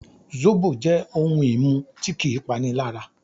Zóbò jẹ́ ohun-ìmu tí kì í panilára